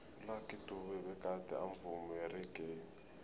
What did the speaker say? ulucky dube begade amvumi weraggae